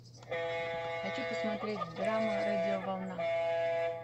хочу посмотреть драма радиоволна